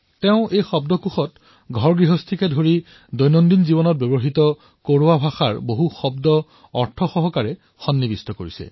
তেওঁ এই শব্দকোষত ঘৰগৃহস্থীত প্ৰয়োগ হোৱা শব্দৰ পৰা আৰম্ভ কৰি দৈনিক জীৱনত ব্যৱহাৰ হোৱা কোৰৱা ভাষাৰ অনেক শব্দৰ অৰ্থ লিখি উলিয়াইছে